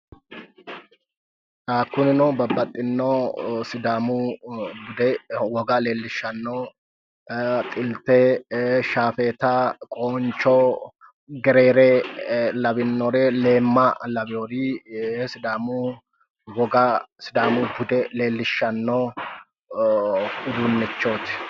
Kunino babbaxxino sidaamu bude woga leellishshanno xilte ee shaafeeta qooncho gereere lawinnore leemma lawiyoori ee sidaamu woga sidaamu bude leellishshanno uduunnichooti.